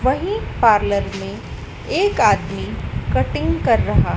वही पार्लर में एक आदमी कटिंग कर रहा--